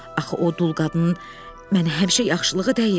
Axı o dul qadın mənə həmişə yaxşılığı dəyib.